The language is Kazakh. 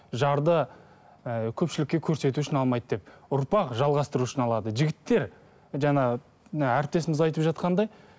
жарды ы көпшілікке көрсету үшін алмайды деп ұрпақ жалғастыру үшін алады жігіттер жаңағы мына әріптесіміз айтып жатқандай